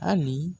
Hali